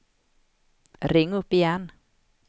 ring upp igen